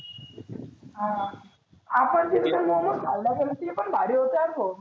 हा आपण तीकड मोमोज खायला जातोना ते पण भारी होतं यार भो.